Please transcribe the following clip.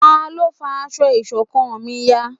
Talọ́ fá aṣọ iṣọ̀kan mí yá?